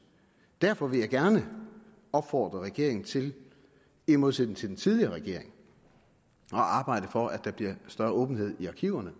derfor vil jeg gerne opfordre regeringen til i modsætning til den tidligere regering at arbejde for at der bliver større åbenhed i arkiverne